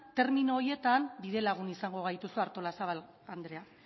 termino horietan bidelagun izango gaituzu artolazabal andrea